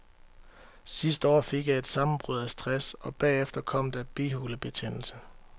Sidste år fik jeg et sammenbrud af stress, og bagefter kom der bihulebetændelse.